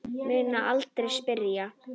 Mun aldrei spyrja.